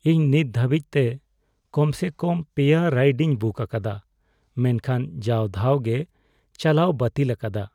ᱤᱧ ᱱᱤᱛ ᱫᱷᱟᱹᱵᱤᱡ ᱛᱮ ᱠᱚᱢ ᱥᱮ ᱠᱚᱢ ᱓ ᱨᱟᱭᱤᱰᱤᱧ ᱵᱩᱠ ᱟᱠᱟᱫᱟ, ᱢᱮᱱᱠᱷᱟᱱ ᱡᱟᱣ ᱫᱷᱟᱣ ᱜᱮ ᱪᱟᱞᱣᱟᱹᱭ ᱵᱟᱹᱛᱤᱞ ᱟᱠᱟᱫᱟ ᱾